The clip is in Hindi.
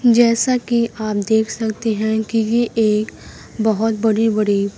जैसा कि आप देख सकते हैं कि ये एक बहुत बड़ी बड़ी--